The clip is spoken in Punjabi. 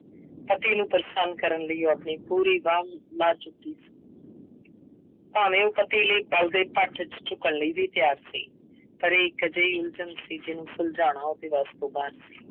ਪਤੀ ਨੂੰ ਪ੍ਰਸੰਨ ਕਰਨ ਲਈ ਉਹ ਆਪਣੀ ਪੂਰੀ ਵਾਹ ਲਾ ਚੁੱਕੀ ਸੀ। ਭਾਵੇਂ ਉਹ ਪਤੀ ਲਈ ਬਲਦੇ ਭੱਠ ਵਿੱਚ ਝੁੱਕਣ ਲਈ ਵੀ ਤਿਆਰ ਸੀ। ਪਰ ਇੱਕ ਅਜਿਹੀ ਉਲਝਣ ਸੀ, ਜਿਹਨੂੰ ਸੁਲਝਾਉਣਾ ਉਹਦੇ ਵੱਸ ਤੋਂ ਬਾਹਰ ਸੀ।